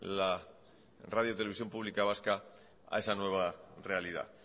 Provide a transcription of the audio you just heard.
la radio televisión pública vasca a esa nueva realidad